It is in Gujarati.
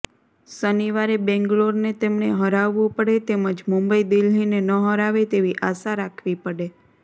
શનિવારે બેંગ્લોરને તેમણે હરાવવું પડે તેમજ મુંબઈ દિલ્હીને ન હરાવે તેવી આશા રાખવી પડે